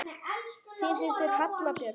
Þín systir, Halla Björk.